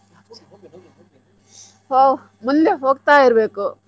ಹೋ ಮುಂದೆ ಹೋಗ್ತಾ ಇರ್ಬೇಕು.